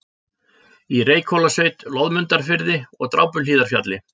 í Reykhólasveit, Loðmundarfirði og Drápuhlíðarfjalli.